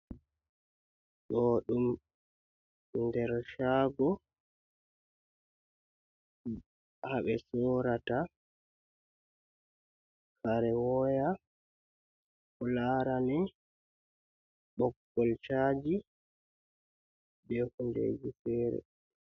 Ɗo ɗum nder cago haɓe sorata kare woya ko larani ɓogol caji be hundeji fere.